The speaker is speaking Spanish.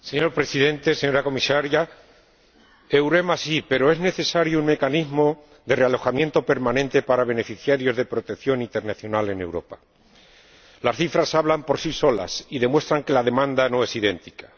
Señor Presidente, señora Comisaria, EUREMA sí, pero es necesario un mecanismo de realojamiento permanente para beneficiarios de protección internacional en Europa. Las cifras hablan por sí solas y demuestran que la demanda no es idéntica.